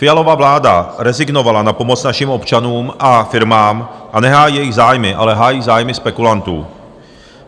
Fialova vláda rezignovala na pomoc našim občanům a firmám a nehájí jejich zájmy, ale hájí zájmy spekulantů.